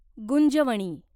Gunjavani